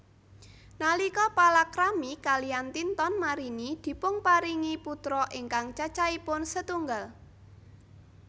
Nalika palakrami kaliyan Tinton Marini dipunparingi putra ingkang cacahipun setunggal